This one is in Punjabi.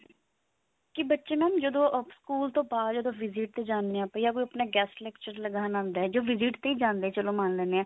ਕੀ ਬੱਚੇ mam ਜਦੋਂ ਸਕੂਲ ਤੋਂ ਬਾਅਦ ਜਦੋਂ visit ਤੇ ਜਾਂਦੇ ਹਾਂ ਯਾ ਆਪਣਾ ਕੋਈ guest lecture ਲਗਾਉਣ ਆਉਂਦਾ ਯਾ visit ਤੇ ਹੀ ਜਾਂਦਾ ਚਲੋ ਮੰਨ ਲੈਂਦੇ ਹਾਂ